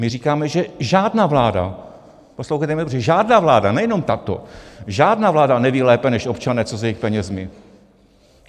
My říkáme, že žádná vláda - poslouchejte mě dobře - žádná vláda, nejenom tato, žádná vláda neví lépe než občané, co s jejich penězi.